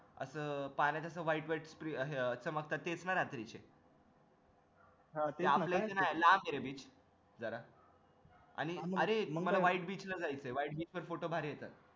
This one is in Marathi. अस अह पाण्यात असं white white चमकतात तेच ना रात्रीचे लांब हे रे जरा beach आणि मला white beach ला जायचे white beach ला photo भारी येतात